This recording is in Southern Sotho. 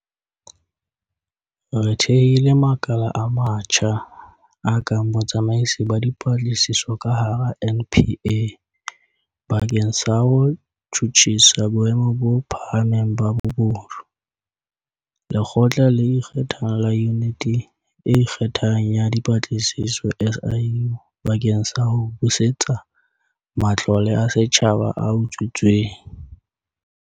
Re thehile makala a matjha, a kang Botsamaisi ba Dipatlisiso ka hara NPA bakeng sa ho tjhutjhisa boemo bo phahameng ba bobodu, Lekgotla le Ikgethang la Yuniti e Ikgethang ya Dipatlisiso, SIU, bakeng sa ho busetsa matlole a setjhaba a utswitsweng.